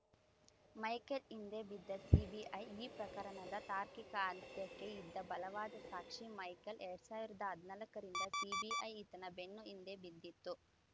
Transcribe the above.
Michael ಹಿಂದೆ ಬಿದ್ದ CBI ಈ ಪ್ರಕರಣದ ತಾರ್ಕಿಕ ಅಂತ್ಯಕ್ಕೆ ಇದ್ದ ಬಲವಾದ ಸಾಕ್ಷಿ ಮೈಕೆಲ್‌ ಎರಡ್ ಸಾವಿರದ ಹದನಾಲ್ಕರಿಂದ ಸಿಬಿಐ ಈತನ ಬೆನ್ನ ಹಿಂದೆ ಬಿದ್ದಿತ್ತು